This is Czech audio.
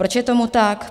Proč je tomu tak?